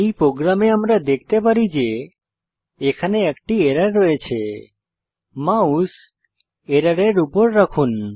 এই প্রোগ্রামে আমরা দেখতে পারি যে এখানে একটি এরর রয়েছে মাউস এররের উপর রাখুন